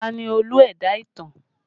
Ta ni Olú ẹ̀dá ìtàn?